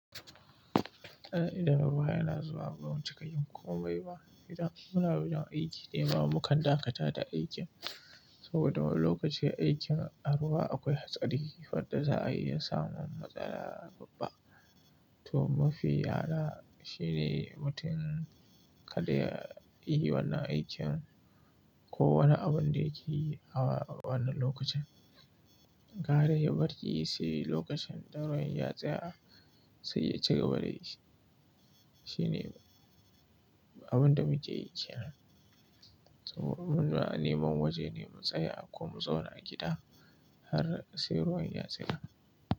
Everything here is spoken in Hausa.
Idan ruwa yana zuwa bamu cika yin komai ba, idan muna wajen aiki dai ba muka dakata da aikin. Saboda lokacin aikin a ruwa akwai hatsari, faɗa za a iya samun matsala babba. To mafi ala shine mutum kada ya yi wannan aikin ko wani abin da yake yi a wannan lokacin. Gara ya bari, sai lokacin ɗaurin ya tsaya sai ya ci gaba da yi shi. Shi ne abin da muke yi kenan. Saboda muna neman waje ne mu tsaya ko mu zauna a gida har sai ruwan ya tsaya.